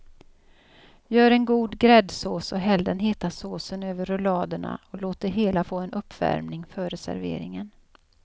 Gör en god gräddsås och häll den heta såsen över rulladerna och låt det hela få en uppvärmning före serveringen.